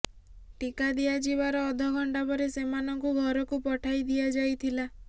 ଟିକା ଦିଆଯିବାର ଅଧ ଘଣ୍ଟା ପରେ ସେମାନଙ୍କୁ ଘରକୁ ପଠାଇ ଦିଆଯାଇଥିଲା